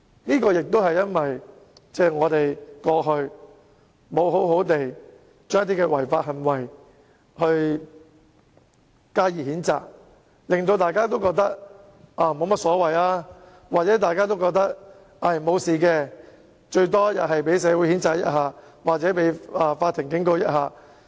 這也是因為我們過去沒有對某些違法行為加以譴責，以致有人認為沒有甚麼大不了，甚至以為沒有問題，最多只會被社會人士譴責或法庭警告。